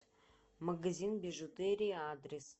магазин бижутерии адрес